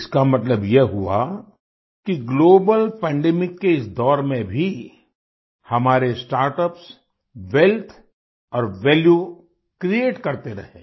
इसका मतलब यह हुआ कि ग्लोबल पैंडेमिक के इस दौर में भी हमारे स्टार्टअप्स वेल्थ और वैल्यू क्रिएट करते रहे हैं